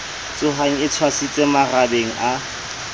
tshohang e tshwasitswe marabeng a